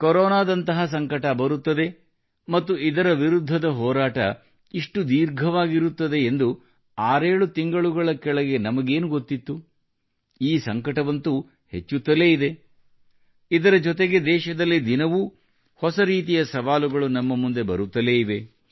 ಕೊರೋನಾದಂತಹ ಸಂಕಟ ಬರುತ್ತದೆ ಮತ್ತು ಇದರ ವಿರುದ್ಧದ ಹೋರಾಟ ಇಷ್ಟು ಧೀರ್ಘವಾಗಿರುತ್ತದೆ ಎಂದು ಆರೇಳು ತಿಂಗಳುಗಳ ಕೆಳಗೆ ನಮಗೇನು ಗೊತ್ತಿತ್ತು ಈ ಸಂಕಟವಂತೂ ಹೆಚ್ಚುತ್ತಲೇ ಇದೆ ಇದರ ಜೊತೆಗೆ ದೇಶದಲ್ಲಿ ದಿನವೂ ಹೊಸ ರೀತಿಯ sಸವಾಲುಗಳು ನಮ್ಮ ಮುಂದೆ ಬರುತ್ತಲೇ ಇವೆ